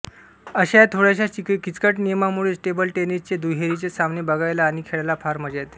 अश्या या थोड्याश्या किचकट नियमामुळेच टेबल टेनिसचे दुहेरीचे सामने बघायला आणि खेळायला फार मजा येते